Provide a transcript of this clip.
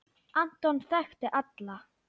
Anton þekkti alla.